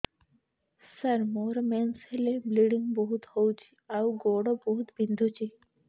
ସାର ମୋର ମେନ୍ସେସ ହେଲେ ବ୍ଲିଡ଼ିଙ୍ଗ ବହୁତ ହଉଚି ଆଉ ଗୋଡ ବହୁତ ବିନ୍ଧୁଚି